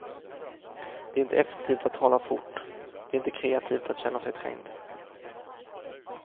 Det är inte effektivt att tala fort, det är inte kreativt att känna sig trängd.